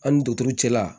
An ni duturu cɛla